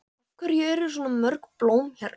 Af hverju eru svona mörg blóm hérna?